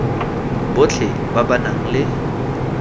botlhe ba ba nang le